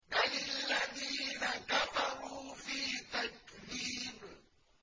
بَلِ الَّذِينَ كَفَرُوا فِي تَكْذِيبٍ